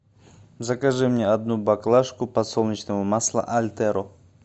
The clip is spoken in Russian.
закажи мне одну баклажку подсолнечного масла альтеро